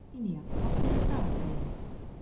Virginía, opnaðu dagatalið mitt.